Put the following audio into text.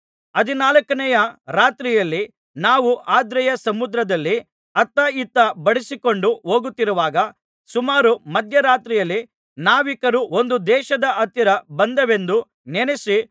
ಹದಿನಾಲ್ಕನೆಯ ರಾತ್ರಿಯಲ್ಲಿ ನಾವು ಆದ್ರಿಯ ಸಮುದ್ರದಲ್ಲಿ ಅತ್ತ ಇತ್ತ ಬಡಿಸಿಕೊಂಡು ಹೋಗುತ್ತಿರುವಾಗ ಸುಮಾರು ಮಧ್ಯರಾತ್ರಿಯಲ್ಲಿ ನಾವಿಕರು ಒಂದು ದೇಶದ ಹತ್ತಿರ ಬಂದೆವೆಂದು ನೆನಸಿ